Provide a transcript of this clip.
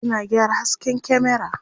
suna gyara hasken kyamera